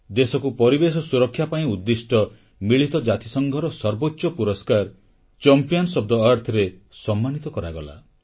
ଦେଶକୁ ପରିବେଶ ସୁରକ୍ଷା ପାଇଁ ଉଦ୍ଦିଷ୍ଟ ମିଳିତ ଜାତିସଂଘର ସର୍ବୋଚ୍ଚ ପୁରସ୍କାର ଚାମ୍ପିଅନ୍ସ ଓଏଫ୍ ଥେ Earthରେ ସମ୍ମାନିତ କରାଗଲା